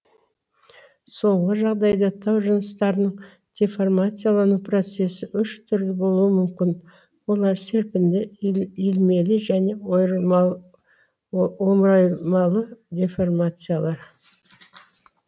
соңғы жағдайда тау жыныстарының деформациялану процесі үш түрлі болуы мүмкін олар серпінді иілмелі және омыралмалы деформациялар